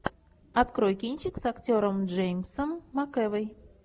открой кинчик с актером джеймсом макэвой